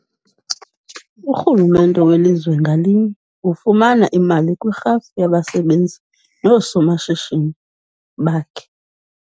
Urhulumente welizwe ngalinye ufumana imali kwirhafu yabasebenzi noosomashishini bakhe.